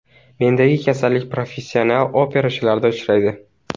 Mendagi kasallik professional operachilarda uchraydi.